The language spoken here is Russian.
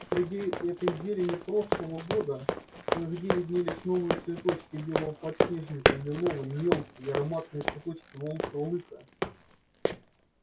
среди этой зелени прошлого года кое-где виднелись новые цветочки белого подснежника и лиловые мелкие и ароматные цветочки волчьего лыка